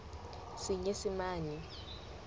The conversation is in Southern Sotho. senyesemane